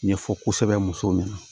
Ɲɛfɔ kosɛbɛ musow ɲɛna